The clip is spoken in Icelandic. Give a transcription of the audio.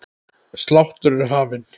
Sláttur er hafinn.